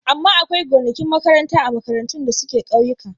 Amma akwai gonakin makaranta a makarantun da suke ƙauyika.